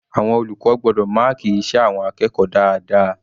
Àwọn olùkọ́ gbọ́dọ̀ máàkì iṣẹ́ àwọn akẹ́kọ̀ọ́ dáadáa.